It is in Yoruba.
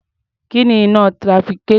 Kí ni iná trafficator?